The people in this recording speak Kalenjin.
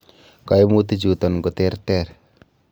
Koimutichutom koterter.